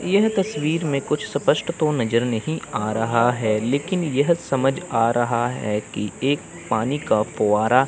यह तस्वीर मे कुछ स्पष्ट तो नजर नहीं आ रहा है लेकिन यह समझ आ रहा है कि एक पानी का फोआरा --